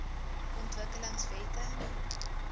ontwikkelingwette